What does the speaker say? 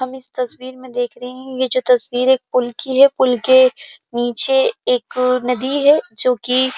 हम इस तस्वीर मै देख रहे हैं। ये जो तस्वीर है पूल की है। पूल के नीचे एक नदी है जो की --